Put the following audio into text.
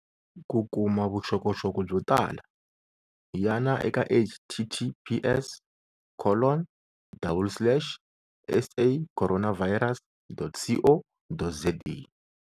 Ku kuma vuxokoxoko byo tala, yana eka https collon double slash sacorona virus.co.za